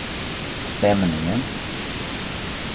stämningen